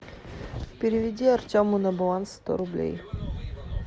переведи артему на баланс сто рублей